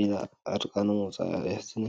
ኢላ ዕርቃና ምውዕኣ የሕዝን እዩ፡፡